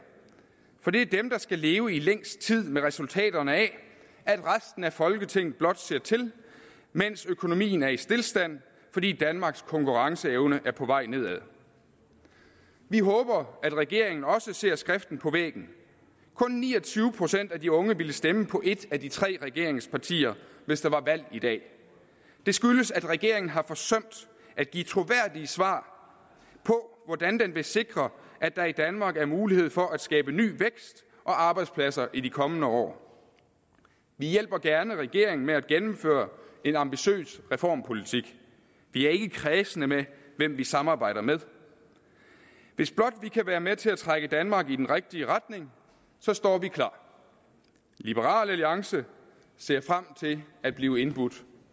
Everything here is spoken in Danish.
for det er dem der skal leve i længst tid med resultaterne af at resten af folketinget blot ser til mens økonomien er i stilstand fordi danmarks konkurrenceevne er på vej nedad vi håber at regeringen også ser skriften på væggen kun ni og tyve procent af de unge ville stemme på et af de tre regeringspartier hvis der var valg i dag det skyldes at regeringen har forsømt at give troværdige svar på hvordan den vil sikre at der i danmark er mulighed for at skabe ny vækst og arbejdspladser i de kommende år vi hjælper gerne regeringen med at gennemføre en ambitiøs reformpolitik vi er ikke kræsne med hvem vi samarbejder med hvis blot vi kan være med til at trække danmark i den rigtige retning står vi klar liberal alliance ser frem til at blive indbudt